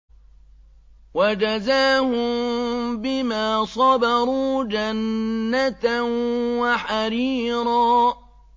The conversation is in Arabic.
وَجَزَاهُم بِمَا صَبَرُوا جَنَّةً وَحَرِيرًا